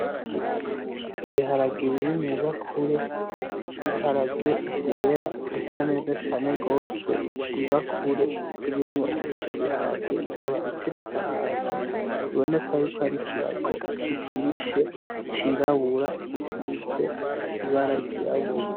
Ibiharage biri mwubakure, ibiharage vyera bisa neza cane gose, ibakure irimwo ivyo biharage ikaba iteretse ahantu biboneka yuko ari ikirago kijishe c'irabura gisize ibara ry'irabura.